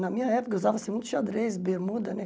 Na minha época, usava-se muito xadrez, bermuda, né?